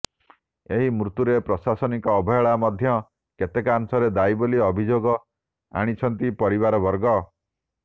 ଏହି ମୃତ୍ୟୁରେ ପ୍ରଶାସନିକ ଅବହେଳା ମଧ୍ୟ କେତେକାଂଶରେ ଦାୟୀ ବୋଲି ଅଭିଯୋଗ ଆଣିଛନ୍ତି ପରିବାରବର୍ଗ